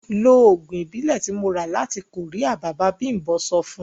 Ló oògùn Ìbílẹ̀ tí mo ra bọ̀ láti Korea! Bàbá bimbo sọ fun.